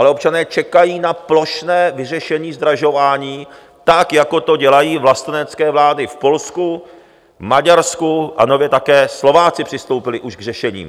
Ale občané čekají na plošné vyřešení zdražování, tak jako to dělají vlastenecké vlády v Polsku, Maďarsku, a nově také Slováci přistoupili už k řešení.